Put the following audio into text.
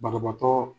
Banabaatɔ